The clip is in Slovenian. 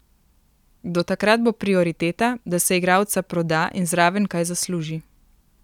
Do takrat bo prioriteta, da se igralca proda in zraven kaj zasluži.